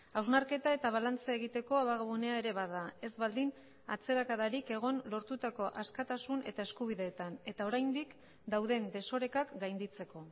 hausnarketa eta balantza egiteko abagunea ere bada ez baldin atzerakadarik egon lortutako askatasun eta eskubideetan eta oraindik dauden desorekak gainditzeko